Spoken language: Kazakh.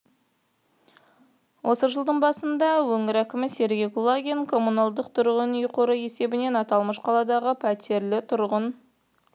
осы жылдың басында өңір әкімі сергей кулагин коммуналдық тұрғын үй қоры есебінен аталмыш қаладағы пәтерлі тұрғын